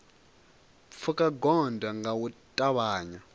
pfuka gondo nga u ṱavhanya